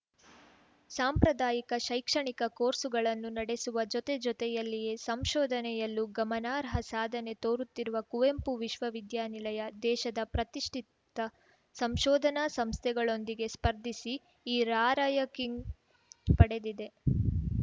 ಸಾಂಪ್ರದಾಯಿಕ ಶೈಕ್ಷಣಿಕ ಕೋರ್ಸ್‌ಗಳನ್ನು ನಡೆಸುವ ಜೊತೆ ಜೊತೆಯಲ್ಲಿಯೇ ಸಂಶೋಧನೆಯಲ್ಲೂ ಗಮನಾರ್ಹ ಸಾಧನೆ ತೋರುತ್ತಿರುವ ಕುವೆಂಪು ವಿಶ್ವ ವಿದ್ಯಾ ನಿಲಯ ದೇಶದ ಪ್ರತಿಷ್ಠಿತ ಸಂಶೋಧನಾ ಸಂಸ್ಥೆಗಳೊಂದಿಗೆ ಸ್ಪರ್ಧಿಸಿ ಈ ರಾರ‍ಯಂಕಿಂಗ್‌ ಪಡೆದಿದೆ